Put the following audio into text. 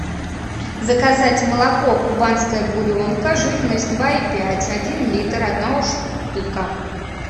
заказать молоко кубанская буренка жирность два и пять один литр одна штука